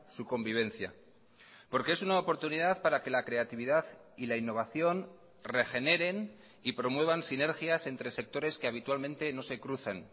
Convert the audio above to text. su convivencia porque es una oportunidad para que la creatividad y la innovación regeneren y promuevan sinergias entre sectores que habitualmente no se crucen